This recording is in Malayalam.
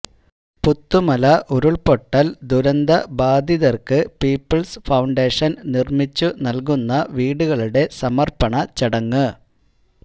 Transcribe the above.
പുത്തുമല ഉരുൾപൊട്ടൽ ദുരന്ത ബാധിതർക്ക് പീപ്പിൾസ് ഫൌണ്ടേഷൻ നിർമിച്ചു നൽകുന്ന വീടുകളുടെ സമർപ്പണ ചടങ്ങ്